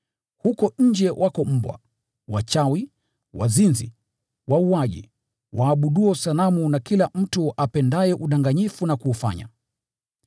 Huko nje wako mbwa, wachawi, wazinzi, wauaji, waabudu sanamu, na kila mtu apendaye udanganyifu na kuufanya.